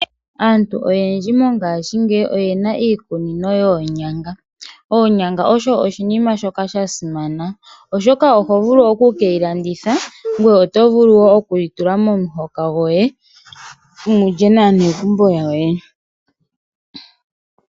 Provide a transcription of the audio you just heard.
Aantu oyendji mongashingeyi oyena iikunino yoonyanga. Oonyanga osho oshinima shoka shasimana oshoka oto vulu okudhilandithapo nenge okutula momuhoka goye mulye naanegumbo lyoye.